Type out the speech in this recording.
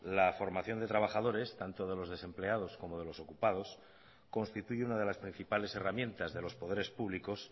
la formación de trabajadores tanto de los desempleados como de los ocupados constituye una de las principales herramientas de los poderes públicos